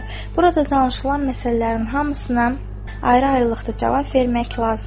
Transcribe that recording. Burada danışılan məsələlərin hamısına ayrı-ayrılıqda cavab vermək lazım deyil.